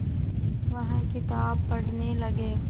वह किताब पढ़ने लगे